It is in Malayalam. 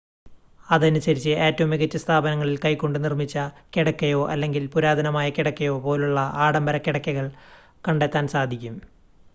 അതനുസരിച്ച് ഏറ്റവും മികച്ച സ്ഥാപനങ്ങളിൽ കൈകൊണ്ട് നിർമ്മിച്ച കിടക്കയോ അല്ലെങ്കിൽ പുരാതനമായ കിടക്കയോ പോലുള്ള ആഡംബര കിടക്കകൾ കണ്ടെത്താൻ സാധിക്കും